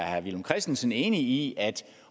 herre villum christensen enig i at